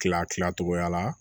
Kila kila cogoya la